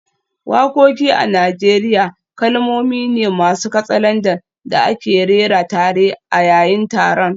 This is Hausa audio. Wakoki a Najeriya kalmomi ne masu katsalandan da ake rera tare a yayin taron.